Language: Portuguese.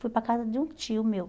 Fui para a casa de um tio meu.